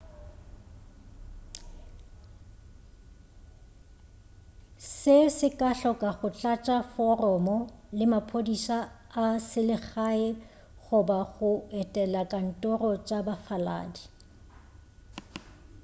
se se ka hloka go tlatša foromo le maphodisa a selegae goba go etela dikantoro tša bafaladi